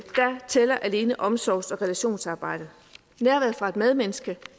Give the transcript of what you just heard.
tæller alene omsorgs og relationsarbejdet nærværet fra et medmenneske